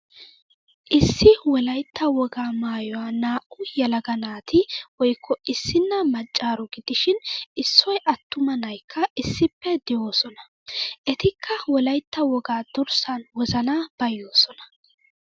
Issi wolaytaa wogaa maayuwaa naa'u yelaga naati woykko issina maccaaro gidishin issioy attumaa na'aykka issippe deosona. Etikka wolaytta wogaa durssan wozana bayyoosona.